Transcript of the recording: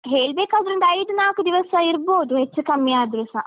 ಹೇಳ್ಬೇಕಾದ್ರೊಂದ್‌ ಐದು ನಾಕು ದಿವಸ ಇರ್ಬೋದು, ಹೆಚ್ಚು ಕಮ್ಮಿ ಆದ್ರೇಸ.